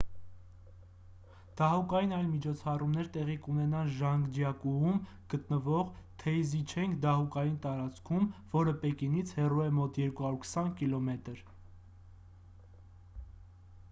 դահուկային այլ միջոցառումներ տեղի կունենան ժանգջյակուում գտնվող թեյզիչենգ դահուկային տարածքում որը պեկինից հեռու է մոտ 220 կմ 140 մղոն: